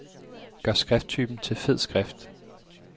Gør skrifttypen til fed skrift.